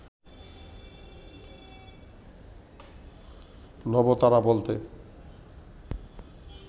নবতারা বলতে